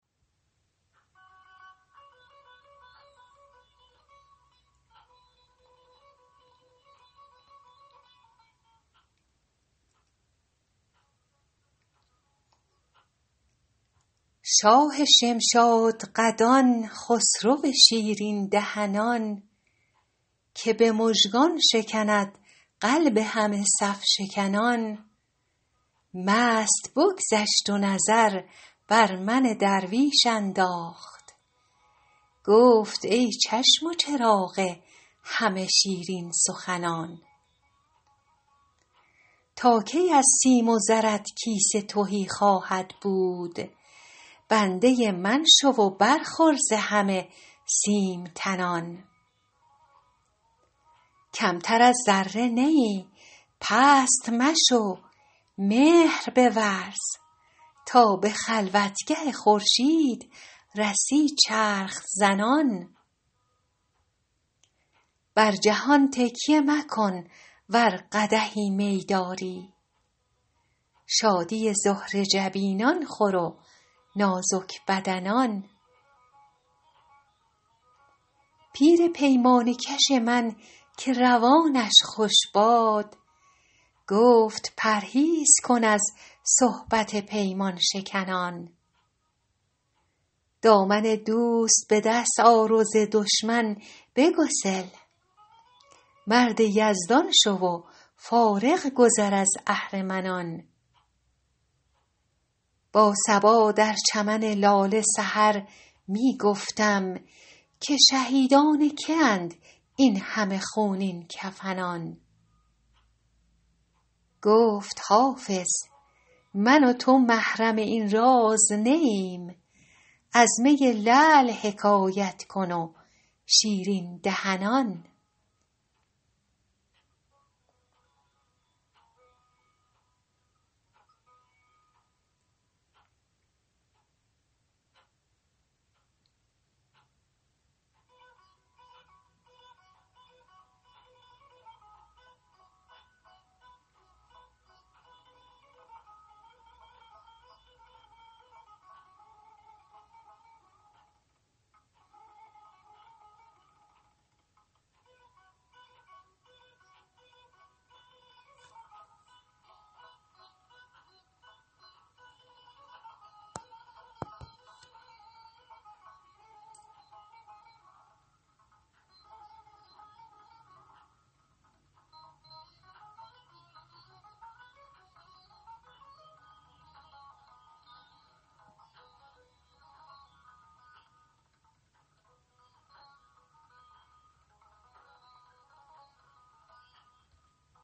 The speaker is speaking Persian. شاه شمشادقدان خسرو شیرین دهنان که به مژگان شکند قلب همه صف شکنان مست بگذشت و نظر بر من درویش انداخت گفت ای چشم و چراغ همه شیرین سخنان تا کی از سیم و زرت کیسه تهی خواهد بود بنده من شو و برخور ز همه سیم تنان کمتر از ذره نه ای پست مشو مهر بورز تا به خلوتگه خورشید رسی چرخ زنان بر جهان تکیه مکن ور قدحی می داری شادی زهره جبینان خور و نازک بدنان پیر پیمانه کش من که روانش خوش باد گفت پرهیز کن از صحبت پیمان شکنان دامن دوست به دست آر و ز دشمن بگسل مرد یزدان شو و فارغ گذر از اهرمنان با صبا در چمن لاله سحر می گفتم که شهیدان که اند این همه خونین کفنان گفت حافظ من و تو محرم این راز نه ایم از می لعل حکایت کن و شیرین دهنان